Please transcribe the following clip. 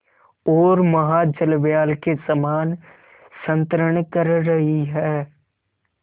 ओर महाजलव्याल के समान संतरण कर रही है